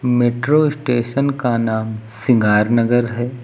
Metro station का नाम सिंगार नगर है।